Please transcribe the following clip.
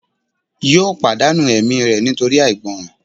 yóò pàdánù ẹ̀mí rẹ̀ nítorí àìgbọràn